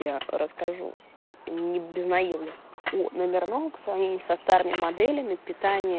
я расскажу не без наёмных номерного к сравнению со старыми моделями питания